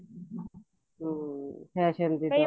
ਹਮ fashion ਦੇ